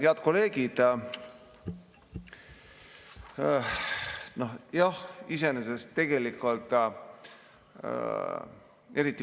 Head kolleegid!